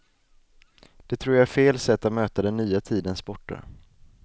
Det tror jag är fel sätt att möta den nya tidens sporter.